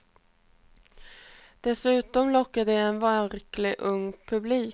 Dessutom lockar de en verkligt ung publik.